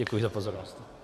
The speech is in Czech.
Děkuji za pozornost.